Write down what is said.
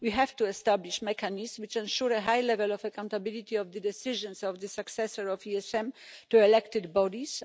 We have to establish mechanisms which ensure a high level of accountability of the decisions of the successor of ESM to elected bodies.